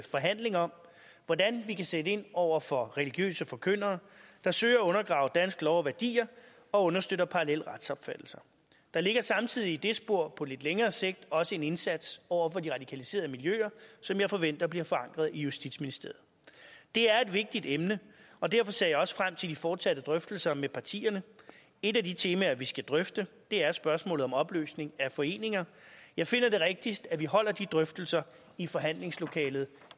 forhandling om hvordan vi kan sætte ind over for religiøse forkyndere der søger at undergrave dansk lov og danske værdier og understøtter parallelle retsopfattelser der ligger samtidig i det spor på lidt længere sigt også en indsats over for de radikaliserede miljøer som jeg forventer bliver forankret i justitsministeriet det er et vigtigt emne og derfor ser jeg også frem til de fortsatte drøftelser med partierne et af de temaer vi skal drøfte er spørgsmålet om opløsning af foreninger jeg finder det rigtigst at vi holder de drøftelser i forhandlingslokalet